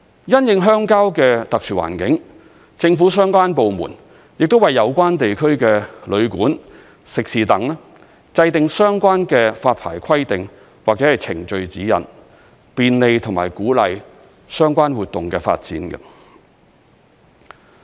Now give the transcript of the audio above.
因應鄉郊的特殊環境，政府相關部門亦為有關地區的旅館、食肆等制訂相關的發牌規定或程序指引，便利和鼓勵相關活動的發展。